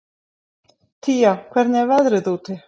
Tía, hvernig er veðrið úti?